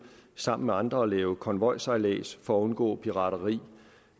sammen med andre at lave konvojsejlads for at undgå pirateri